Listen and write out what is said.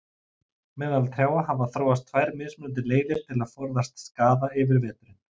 Meðal trjáa hafa þróast tvær mismunandi leiðir til að forðast skaða yfir veturinn.